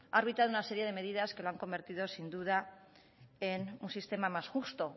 ha arbitrado una serie de medidas que lo han convertido sin duda en un sistema más justo